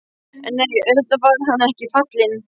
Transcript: En nei, auðvitað var hann ekki fallinn.